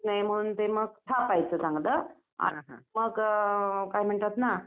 ते मग थापायचं चांगलं मग काय म्हणतात ना.